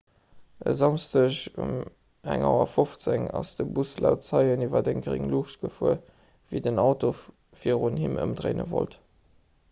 e samschdeg um 1.15 auer ass de bus laut zeien iwwer eng gréng luucht gefuer wéi den auto virun him ëmdréine wollt